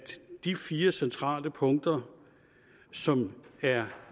de fire centrale punkter som er